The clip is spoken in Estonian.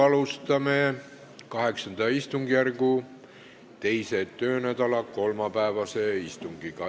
Alustame VIII istungjärgu teise töönädala kolmapäevast istungit.